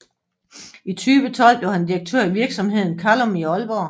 I 2012 blev han direktør i virksomheden Calum i Aalborg